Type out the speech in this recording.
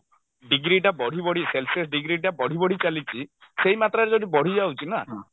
degree ଟା ବଢି ବଢି celsius degree ଟା ବଢି ବଢି ଚାଲିଛି ସେଇ ମାତ୍ରାରେ ଯଦି ବଢିଯାଉଛି ନା